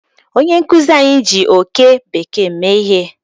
Onye nkuzi anyi ji oke bekee mee ihe